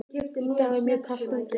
Í dag er mjög kalt úti.